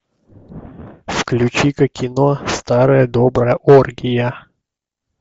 включи ка кино старая добрая оргия